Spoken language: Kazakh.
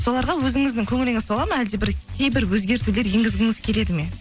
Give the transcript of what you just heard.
соларға өзіңіздің көңіліңіз толады ма әлде бір кейбір өзгертулер енгізгіңіз келеді ме